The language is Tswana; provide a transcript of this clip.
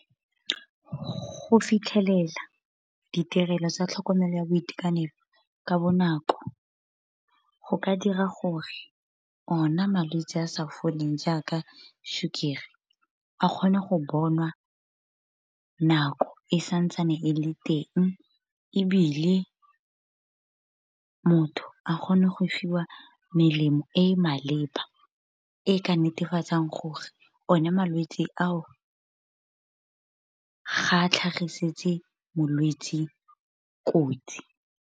Go fitlhelela, ditirelo tsa tlhokomelo ya boitekanelo ka bonako, go ka dira gore ona malwetse a sa foleng jaaka sukiri, a kgone go bonwa nako e sa ntsane e le teng. Ebile motho a kgone go fiwa melemo e e maleba, e e ka netefatsang gore one malwetse ao ga a tlhagisetse molwetse kotsi.